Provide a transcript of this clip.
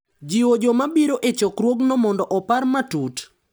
Jiwo joma biro e chokruogno mondo opar matut